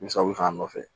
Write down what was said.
Misali k'a nɔfɛ